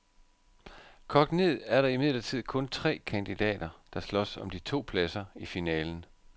Kogt ned er der imidlertid kun tre kandidater, der slås om de to pladser i finalen.